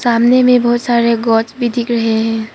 सामने में बहुत सारे गोट्स भी दिख रहे हैं।